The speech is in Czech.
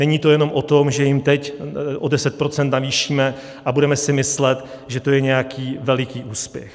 Není to jenom o tom, že jim teď o 10 % navýšíme a budeme si myslet, že to je nějaký veliký úspěch.